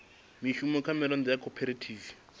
mushumo kha miraḓo ya khophorethivi